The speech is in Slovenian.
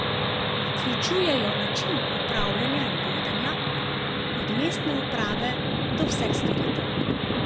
Vključujejo način upravljanja in vodenja, od mestne uprave do vseh storitev.